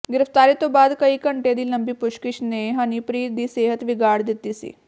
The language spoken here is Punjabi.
ਗ੍ਰਿਫਤਾਰੀ ਤੋਂ ਬਾਅਦ ਕਈ ਘੰਟੇ ਦੀ ਲੰਬੀ ਪੁੱਛਗਿਛ ਨੇ ਹਨੀਪ੍ਰੀਤ ਦੀ ਸਿਹਤ ਵਿਗਾੜ ਦਿੱਤੀ ਸੀ